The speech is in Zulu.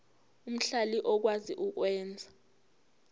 omhlali okwazi ukwenza